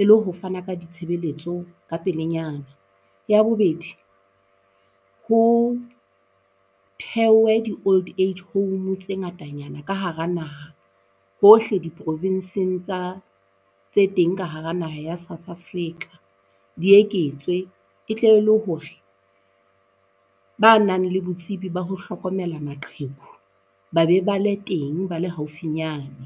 e le ho fana ka ditshebeletso ka pelenyana. Ya bobedi, ho thewe di-old age home tse ngatanyana ka hara naha hohle diprovenseng tsa tse teng ka hara naha ya South Africa, di eketswe e tle le hore ba nang le botsebi ba ho hlokomela maqheku ba be ba le teng ba le haufinyana.